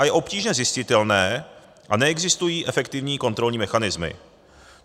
A je obtížně zjistitelné a neexistují efektivní kontrolní mechanismy.